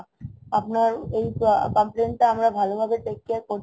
আপনার এই complain টা আমরা ভালো ভাবে take care করছি